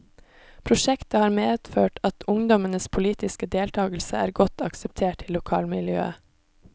Prosjektet har medført at ungdommes poltiske deltakelse er godt akseptert i lokalmiljøet.